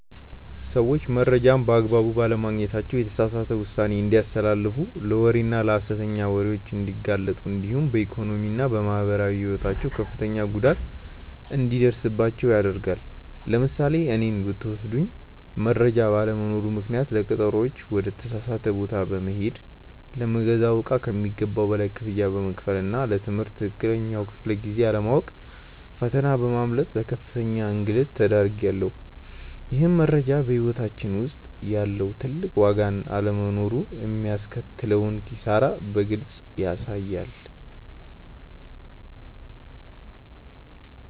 ሰዎች መረጃን በአግባቡ ባለማግኘታቸው የተሳሳተ ውሳኔ እንዲያስተላልፉ ለወሬና ለሐሰተኛ ወሬዎች እንዲጋለጡ እንዲሁም በኢኮኖሚና በማህበራዊ ሕይወታቸው ከፍተኛ ጉዳት እንዲደርስባቸው ያደርጋል። ለምሳሌ እኔን ብትወስዱኝ መረጃ ባለመኖሩ ምክንያት ለቀጠሮዎች ወደ ተሳሳተ ቦታ በመሄድ፣ ለምገዛው እቃ ከሚገባው በላይ ክፍያ በመክፈልና ለ ትምህርት ትክክለኛውን ክፍለ-ጊዜ አለማወቅ ፈተና በማምለጥ ለከፍተኛ እንግልት ተዳርጌያለሁ። ይህም መረጃ በሕይወታችን ውስጥ ያለውን ትልቅ ዋጋና አለመኖሩ የሚያስከትለውን ኪሳራ በግልጽ ያሳያል።